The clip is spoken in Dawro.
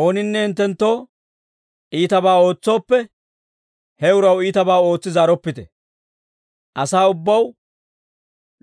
Ooninne hinttenttoo iitabaa ootsooppe, he uraw iitabaa ootsi zaaroppite; asaa ubbaw